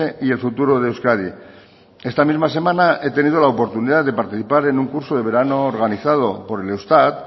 y el futuro de euskadi esta misma semana he tenido la oportunidad de participar en un curso de verano organizado por el eustat